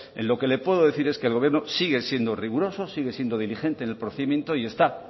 en lo que le puedo decir es que el gobierno sigue siendo riguroso sigue siendo dirigente en el procedimiento y está